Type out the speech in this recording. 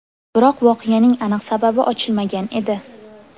Biroq voqeaning aniq sababi ochilmagan edi.